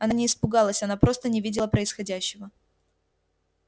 она не испугалась она просто не видела происходящего